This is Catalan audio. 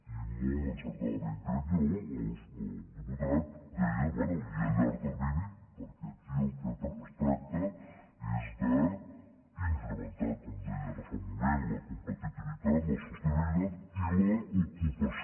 i molt encertadament crec jo el diputat deia bé i a llarg termini perquè aquí del que es tracta és d’incrementar com deia ara fa un moment la competitivitat la sostenibilitat i l’ocupació